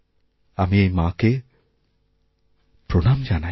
আমি এই মাকে প্রণাম জানাই